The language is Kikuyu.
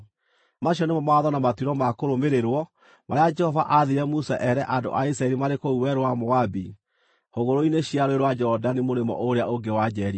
Macio nĩmo mawatho na matuĩro ma kũrũmĩrĩrwo marĩa Jehova aathire Musa eere andũ a Isiraeli marĩ kũu werũ wa Moabi hũgũrũrũ-inĩ cia Rũũĩ rwa Jorodani mũrĩmo ũrĩa ũngĩ wa Jeriko.